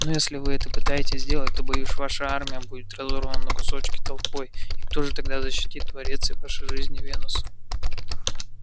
но если вы это попытаетесь сделать то боюсь ваша армия будет разорвана на кусочки толпой и кто же тогда защитит дворец и ваши жизни венус